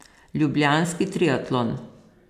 Ljubljanski triatlon.